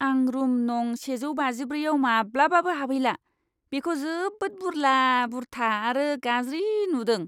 आं रुम नं. सेजौ बाजिब्रैआव माब्लाबाबो हाबहैला, बेखौ जोबोद बुरला बुरथा आरो गाज्रि नुदों।